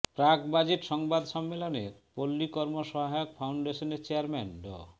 প্রাক বাজেট সংবাদ সম্মেলনে পল্লী কর্ম সহায়ক ফাউন্ডেশনের চেয়ারম্যান ড